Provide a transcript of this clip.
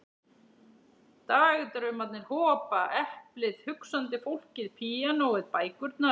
Dagdraumarnir hopa, eplið, hugsandi fólkið, píanóið, bækurnar.